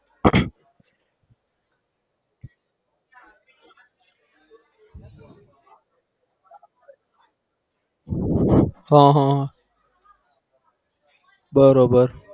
હમ હમ બરોબર